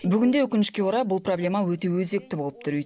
бүгінде өкінішке орай бұл проблема өте өзекті болып тұр